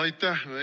Aitäh!